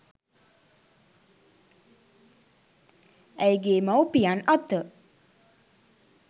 ඇයගේ මව්පියන් අත